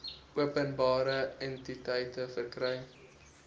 openbare entiteite verkry